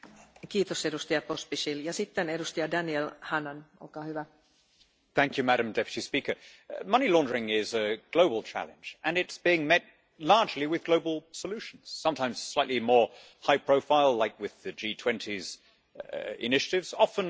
Madam President, money laundering is a global challenge and it's being met largely with global solutions, sometimes slightly more high profile, as is the case with the G20's initiatives, often in an unglamorous, unremarked, and unreported way among national regulators.